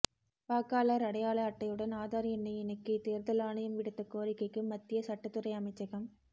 வாக்காளர் அடையாள அட்டையுடன் ஆதார் எண்ணை இணைக்க தேர்தல் ஆணையம் விடுத்த கோரிக்கைக்கு மத்திய சட்டத் துறை அமைச்சகம்